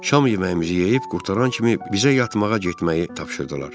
Şam yeməyimizi yeyib qurtaran kimi bizə yatmağa getməyi tapşırdılar.